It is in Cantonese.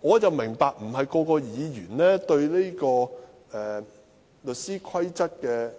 我明白不是每位議員都對有關律師規則的